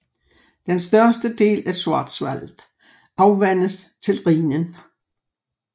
Den største del af Schwarzwald afvandes til Rhinen